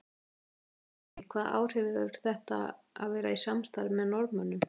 Lillý: Hvaða áhrif hefur þetta að vera í samstarfi með Norðmönnum?